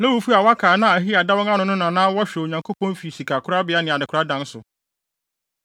Lewifo a wɔaka a na Ahiya da wɔn ano no na na wɔhwɛ Onyankopɔn fi sikakorabea ne adekoradan so.